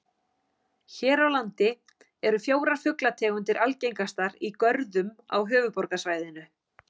Hér á landi eru fjórar fuglategundir algengastar í görðum á höfuðborgarsvæðinu.